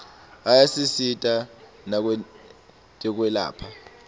ayasisita nakwetekwelapha